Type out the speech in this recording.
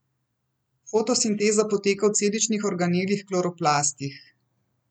Fotosinteza poteka v celičnih organelih kloroplastih.